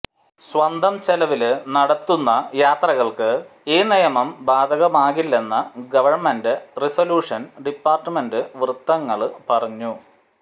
സ്വന്തം ചെലവില് നടത്തുന്ന യാത്രകള്ക്ക് ഈ നിയമം ബാധകമാകില്ലെന്ന് ഗവണ്മെന്റ് റീസോലൂഷന് ഡിപാര്ട്ട്മെന്റ് വൃത്തങ്ങള് പറഞ്ഞു